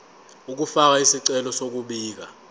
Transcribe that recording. ukufaka isicelo sokubika